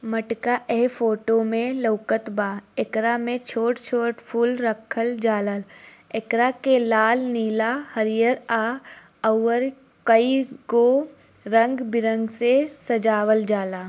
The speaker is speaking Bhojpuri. मटका ए फोटो में लउकत बा एकरा में छोट-छोट फुल रखल जाला एकरा के लाल नीला हरियर आ और की गो रंग बिरंग से सजावल जाला।